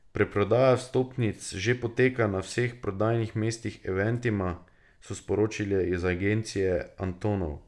Predprodaja vstopnic že poteka na vseh prodajnih mestih Eventima, so sporočili iz Agencije Antonov.